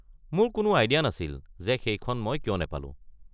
মোৰ কোনো আইডিয়া নাছিল যে মই সেইখন কিয় নাপালো।